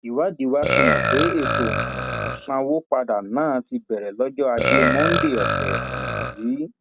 ìwádìí wa fihàn pé ètò um ìsanwó padà náà ti bẹrẹ lọjọ ajé monde ọsẹ um yìí